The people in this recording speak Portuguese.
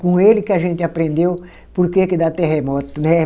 Com ele que a gente aprendeu por que que dá terremoto, né?